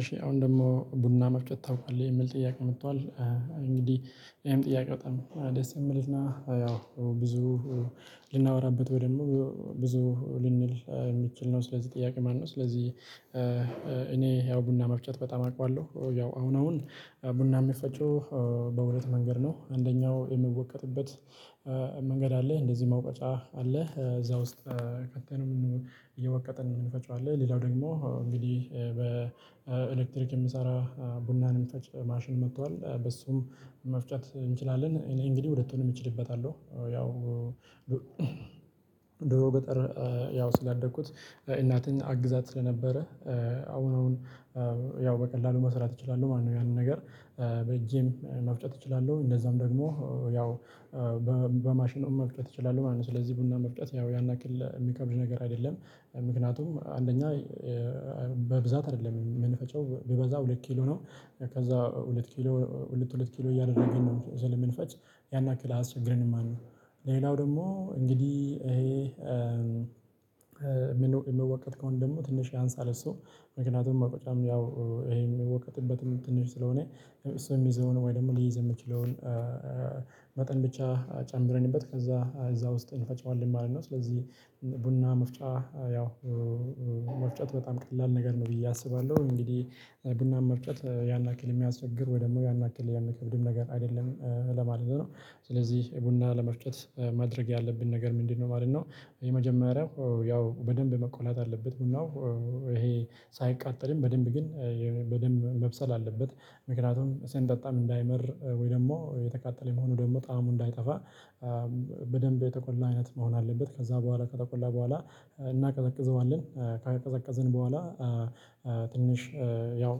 እሺ አሁን ደግሞ ቡና መፍጨት ታውቃለህ የሚል ጥያቄ መጥቷል። እንግዲህ ይሄም ጥያቄ በጣም ደስ የሚልና ያው ብዙ ልናወራበት ወይ ደግሞ ብዙ ልንል የሚችል ነው። ስለዚህ ጥያቄ ማለነው ስለዚህ። እኔ ያው ቡና መፍጨት በጣም አውቃለሁ። ያው አሁን አሁን ቡና ሚፈጨው በሁለት መንገድ ነው። አንደኛው የሚወቀጥበት መንገድ አለ እንደዚህ መውቀጫ አለ እዛ ውስጥ ከተንም እየወቀጥን እንፈጨዋለን። ሌላው ደግሞ እንግዲህ በኤሌክትሪክ የሚሰራ ቡናን የሚፈጭ ማሽን መጥቷል። በሱም መፍጨት እንችላለን እኔ እንግዲህ ሁለቱንም እችልበታለሁ። ያው ድሮ ገጠር ያው ስላደኩት እናቴን አግዛት ስለነበረ አሁን አሁን ያው በቀላሉ መስራት እችላለሁ ማለት ነው። ያንን ነገር በጄም መፍጨት እችላለሁ። እንደዛም ደግሞ ያው በማሽን መፍጨት እችላለሁ ማለት ነው። ስለዚህ ቡና መፍጨት ያው ያን ያክል የሚከብድ ነገር አይደለም። ምክንያቱም አንደኛ በብዛት አይደለም የምንፈጨው ቢበዛ ሁለት ኪሎ ነው። ከዛ ሁለት ኪሎ ሁለት ሁለት ኪሎ እያደረግን ነው ስለምንፈጭ ያን ያክል አያስቸግረንም ማለት ነው። ሌላው ደግሞ እንግዲህ ይሄ የሚወቀጥ ከሆነ ደግሞ ትንሽ ያንሳል እሱ ምክንያቱም መውቀጫም ያው ይሄ የሚወቀጥበትም ትንሽ ስለሆነ እሱ የሚይዘውን ወይ ደግሞ ሊይዝ የሚችለውን መጠን ብቻ ጨምረንበት ከዛ እዛ ውስጥ እንፈጨዋለን ማለት ነው። ስለዚህ ቡና መፍጫ ያው መፍጨት በጣም ቀላል ነገር ነው ብዬ አስባለሁ። እንግዲህ ቡናን መፍጨት ያን ያክል የሚያስቸግር ወይ ደግሞ ያን ያክል ያን የሚከብድም ነገር አይደለም ለማለት ነው። ስለዚህ ቡና ለመፍጨት ማድረግ ያለብን ነገር ምንድነው? ማለት ነው። የመጀመሪያው ያው በደንብ መቆላት አለበት ቡናው ይሄ ሳይቃጠልም በደንብ ግን በደንብ መብሰል አለበት። ምክንያቱም ስንጠጣም እንዳይመር ወይ ደግሞ የተቃጠለ ሆኖ ደግሞ ጣዕሙ እንዳይጠፋ በደንብ የተቆላ አይነት መሆን አለበት። ከዛ በኋላ ከተቆላ በኋላ እናቀዘቅዘዋለን። ካቀዘቀዝን በኋላ ትንሽ ያው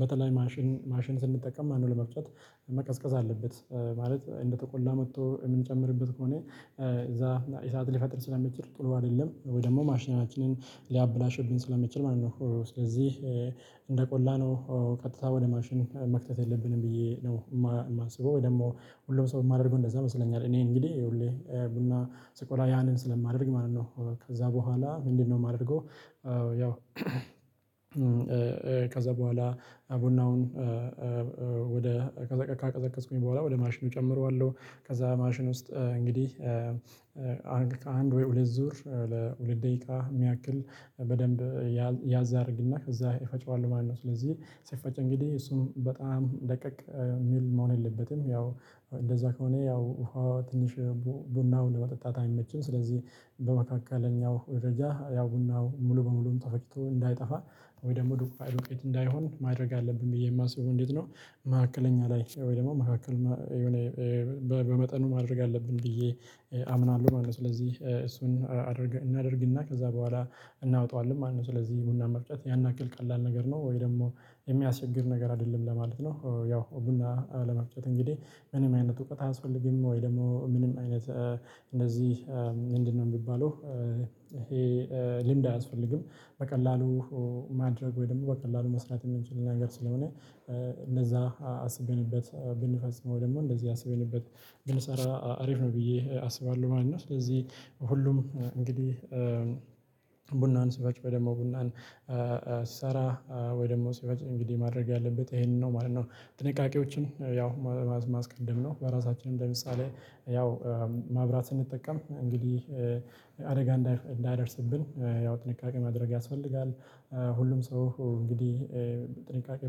በተለይ ማሽን ማሽን ስንጠቀም ማለት ነው። ለመፍጨት መቀዝቀዝ አለበት። ማለት እንደተቆላ መጥቶ የምንጨምርበት ከሆነ እዛ እሳት ሊፈጥር ስለሚችል ጥሩ አይደለም ወይ ደግሞ ማሽናችንን ሊያበላሽብን ስለሚችል ማለት ነው። ስለዚህ እንደ ቆላነው ቀጥታ ወደ ማሽን መክተት የለብንም ብዬ ነው የማስበው። ወይ ደግሞ ሁሉም ሰው የማደርገው እንደዛ ይመስለኛል። እኔ እንግዲህ ሁሌ ቡና ስቆላ ያንን ስለማደርግ ማለት ነው። ከዛ በኋላ ምንድነው የማደርገው? ያው ከዛ በኋላ ቡናውን ወደ ካቀዘቀዝኩኝ በኋላ ወደ ማሽኑ እጨምረዋለሁ። ከዛ ማሽን ውስጥ እንግዲህ አንድ ወይ ሁለት ዙር ለሁለት ደቂቃ የሚያክል በደንብ ያዝ አረግና ከዛ እፈጨዋለው ማለት ነው። ስለዚህ ሲፈጭ እንግዲህ እሱን በጣም ደቀቅ የሚል መሆን የለበትም። ያው እንደዛ ከሆነ ያው ውሃ ትንሽ ቡናውን ለመጠጣት አይመችም። ስለዚህ በመካከለኛው ደረጃ ያው ቡናው ሙሉ በሙሉ ተፈጭቶ እንዳይጠፋ ወይ ደግሞ ዱቄት እንዳይሆን ማድረግ አለብኝ ብዬ የማስበው እንዴት ነው? መካከለኛ ላይ ወይ ደግሞ መካከለኛ የሆነ በመጠኑ ማድረግ አለብን ብዬ አምናለሁ ማለት ነው። ስለዚህ እሱን እናደርግና ከዛ በኋላ እናወጣዋለን ማለት ነው። ስለዚህ ቡና መፍጨት ያን ያክል ቀላል ነገር ነው። ወይ ደግሞ የሚያስቸግር ነገር አይደለም ለማለት ነው። ያው ቡና ለመፍጨት እንግዲህ ምንም አይነት እውቀት አያስፈልግም ወይ ደግሞ ምንም አይነት እንደዚህ ምንድነው የሚባለው ይሄ ልምድ አያስፈልግም። በቀላሉ ማድረግ ወይም ደግሞ በቀላሉ መስራት የምንችለው ነገር ስለሆነ እንደዛ አስብንበት ብንፈጽመው ደግሞ እንደዚህ አስበንበት ብንሰራ አሪፍ ነው ብዬ አስባለሁ ማለት ነው። ስለዚህ ሁሉም እንግዲህ ቡናን ሲፈጭ ወይ ደግሞ ቡናን ሲሰራ ወይ ደግሞ ስፈጭ እንግዲህ ማድረግ ያለበት ይሄንን ነው ማለት ነው። ጥንቃቄዎችን ያው ማስቀደም ነው በራሳችንም ለምሳሌ ያው ማብራት ስንጠቀም እንግዲህ አደጋ እንዳይደርስብን ያው ጥንቃቄ ማድረግ ያስፈልጋል። ሁሉም ሰው እንግዲህ ጥንቃቄ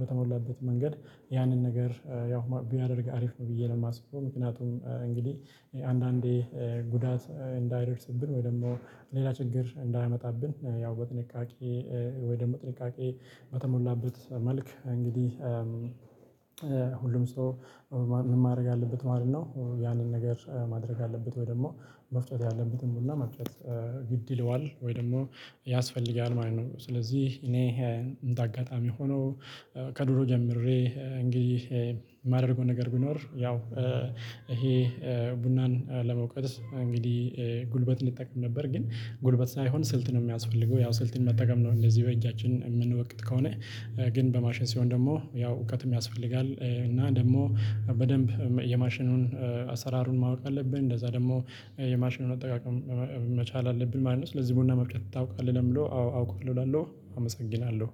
በተሞላበት መንገድ ያንን ነገር ያው ቢያደርግ አሪፍ ነው ብዬ ነው ማስበው። ምክንያቱም እንግዲህ አንዳንዴ ጉዳት እንዳይረስብን ወይ ደግሞ ሌላ ችግር እንዳያመጣብን ያው በጥንቃቄ ወይ ደግሞ ጥንቃቄ በተሞላበት መልክ እንግዲህ ሁሉም ሰው ማድረግ አለበት ማለት ነው። ያንን ነገር ማድረግ አለበት ወይ ደግሞ መፍጨት ያለበትን ቡና መፍጨት ግድ ይለዋል ወይ ደግሞ ያስፈልጋል ማለት ነው። ስለዚህ እኔ እንደ አጋጣሚ ሆኖ ከድሮ ጀምሬ እንግዲህ የማደርገው ነገር ቢኖር ያው ይሄ ቡናን ለመውቀጥ እንግዲህ ጉልበት እንጠቀም ነበር ግን ጉልበት ሳይሆን ስልት ነው የሚያስፈልገው። ያው ስልትን መጠቀም ነው። እንደዚህ በእጃችን የምንወቅጥ ከሆነ ግን በማሽን ሲሆን ደግሞ ያው እውቀትም ያስፈልጋል። እና ደግሞ በደንብ የማሽኑን አሰራሩን ማወቅ አለብን እንደዛ ደግሞ የማሽኑን አጠቃቀም መቻል አለብን ማለት ነው። ስለዚህ ቡና መፍጨት ታውቃለህ ለምለው አዎ አውቃለው እላለሁ። አመሰግናለሁ።